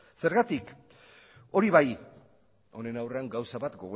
zergatik hori bai honen aurrean gauza bat